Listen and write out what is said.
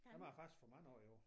Dem har jeg faktisk fået mange af i år